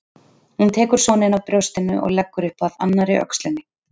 Hún tekur soninn af brjóstinu og leggur upp að annarri öxlinni.